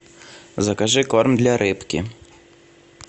закажи корм для рыбки